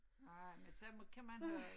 Nej men sådan kan man have det